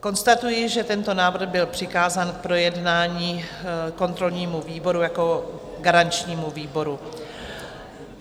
Konstatuji, že tento návrh byl přikázán k projednání kontrolnímu výboru jako garančnímu výboru.